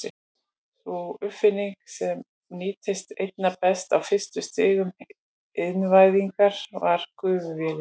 Sú uppfinning sem nýttist einna best á fyrstu stigum iðnvæðingar var gufuvélin.